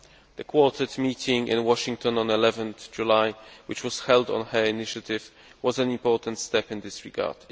The Quartet meeting in Washington on 11 July, which was held on her initiative, was an important step in this regard.